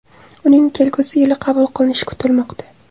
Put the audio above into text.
Uning kelgusi yili qabul qilinishi kutilmoqda.